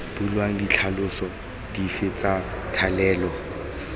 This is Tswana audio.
bulwang ditlhaloso dife tsa thalelo